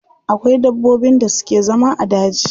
Akwai dabbobin da suke zama a daji.